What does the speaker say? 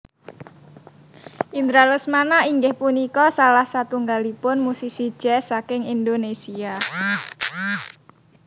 Indra Lesmana inggih punika salah satunggalipun musisi jazz saking Indonésia